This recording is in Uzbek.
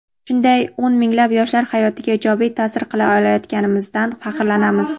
Shunday o‘n minglab yoshlar hayotiga ijobiy ta’sir qila olayotganimizdan faxrlanamiz.